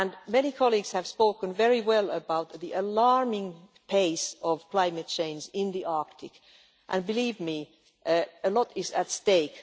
Many colleagues have spoken very well about the alarming pace of climate change in the Arctic and believe me, a lot is at stake.